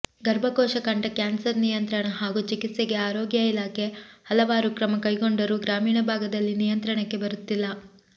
ಗರ್ಭಕೋಶ ಕಂಠ ಕ್ಯಾನ್ಸರ್ ನಿಯಂತ್ರಣ ಹಾಗೂ ಚಿಕಿತ್ಸೆಗೆ ಆರೋಗ್ಯ ಇಲಾಖೆ ಹಲವಾರು ಕ್ರಮ ಕೈಗೊಂಡರೂ ಗ್ರಾಮೀಣ ಭಾಗದಲ್ಲಿ ನಿಯಂತ್ರಣಕ್ಕೆ ಬರುತ್ತಿಲ್ಲ